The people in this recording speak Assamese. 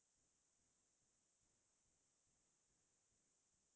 মহা বিদ্যালয়ৰ ফালৰ পৰাই গৈছিলো আমাৰ লগৰ